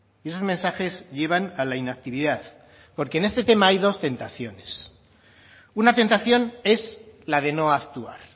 y esos mensajes llevan a la inactividad porque en ese tema hay dos tentaciones una tentación es la de no actuar